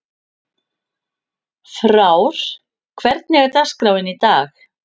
Frár, hvernig er dagskráin í dag?